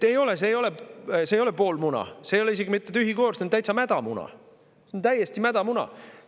See ei ole pool muna, see ei ole isegi mitte tühi koor, see on täitsa mädamuna, see on täiesti mädamuna.